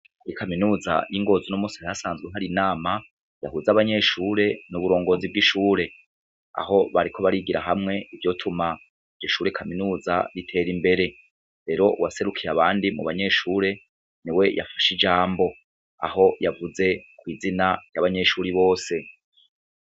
Kuri kaminuza y'ingozi unomusi hari hasanzwe hari inama ihuza abanyeshure n'uburongozi bw'ishure, aho bariko barigira hamwe ivyotuma iryo shure kaminuza ritera imbere ,rero uwaserukiye abandi mubanyeshure, niwe yafashe ijambo aho yavuze kw'izina ry'abanyeshure bose.